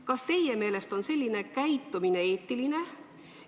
Kas teie meelest on selline käitumine eetiline?